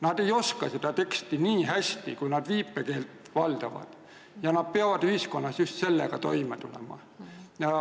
Nad ei oska eestikeelset teksti nii hästi, kui nad viipekeelt valdavad, ja nad peavad ühiskonnas just sellega toime tulema.